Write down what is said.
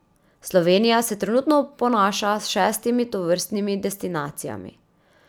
Slovenija se trenutno ponaša s šestimi tovrstnimi destinacijami.